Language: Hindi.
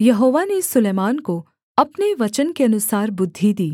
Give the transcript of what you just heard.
यहोवा ने सुलैमान को अपने वचन के अनुसार बुद्धि दी